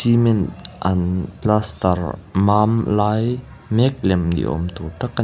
cement an plaster mâm lai mêk lem ni âwm tûr tak a ni.